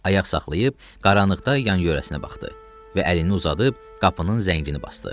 Ayaq saxlayıb qaranlıqda yan-yörəsinə baxdı və əlini uzadıb qapının zəngini basdı.